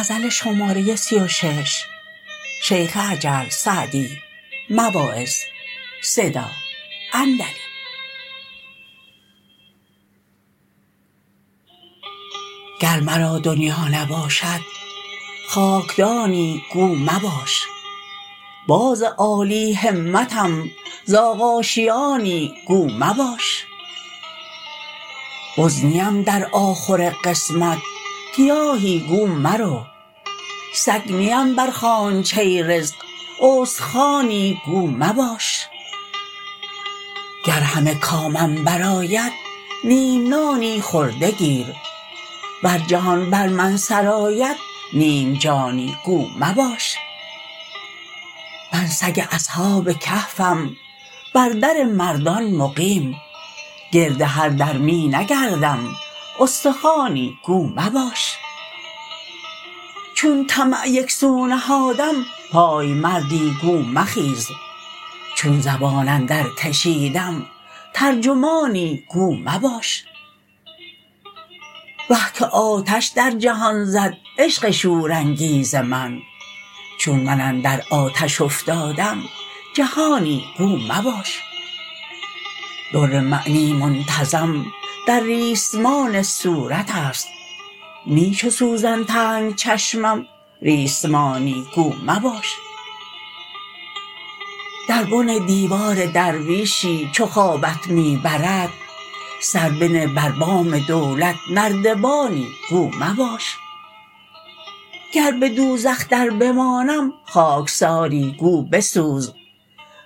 گر مرا دنیا نباشد خاکدانی گو مباش باز عالی همتم زاغ آشیانی گو مباش بز نیم در آخور قسمت گیاهی گو مرو سگ نیم بر خوانچه رزق استخوانی گو مباش گر همه کامم برآید نیم نانی خورده گیر ور جهان بر من سرآید نیم جانی گو مباش من سگ اصحاب کهفم بر در مردان مقیم گرد هر در می نگردم استخوانی گو مباش چون طمع یکسو نهادم پایمردی گو مخیز چون زبان اندر کشیدم ترجمانی گو مباش وه که آتش در جهان زد عشق شورانگیز من چون من اندر آتش افتادم جهانی گو مباش در معنی منتظم در ریسمان صورت است نی چو سوزن تنگ چشمم ریسمانی گو مباش در بن دیوار درویشی چو خوابت می برد سر بنه بر بام دولت نردبانی گو مباش گر به دوزخ در بمانم خاکساری گو بسوز